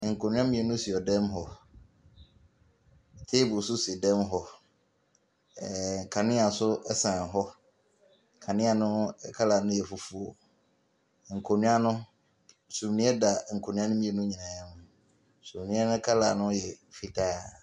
Nkonnwa mmienu si dan mu hɔ. Table nso si dan mu hɔ. Ɛɛɛ . Kaneɛ nso sɛn hɔ. Kanea no colour no yɛ fufuo. Nkonnwa no sumiiɛ da nkonnwa no mmienu nyinaa mu. Sumiiɛ no colour no yɛ fitaa.